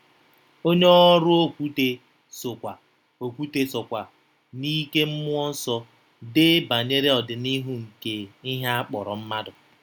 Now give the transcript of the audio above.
Onye ọrụ Okwute sokwa Okwute sokwa n'ike mmụọ nsọ dee banyere ọdịnihu nke ihe a kpọrọ mmadụ.